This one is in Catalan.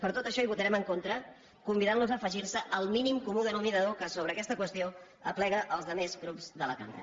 per tot això hi votarem en contra convidant·los a afegir·se al mínim comú denominador que sobre aques·ta qüestió aplega els altres grups de la cambra